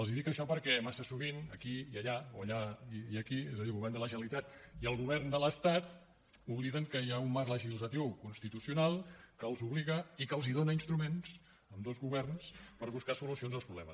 els dic això perquè massa sovint aquí i allà o allà i aquí és a dir el govern de la generalitat i el govern de l’estat obliden que hi ha un marc legislatiu constitucional que els obliga i que els dóna instruments a ambdós governs per buscar solucions als problemes